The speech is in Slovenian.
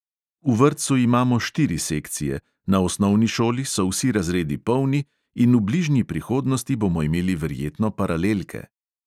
V vrtcu imamo štiri sekcije, na osnovni šoli so vsi razredi polni in v bližnji prihodnosti bomo imeli verjetno paralelke.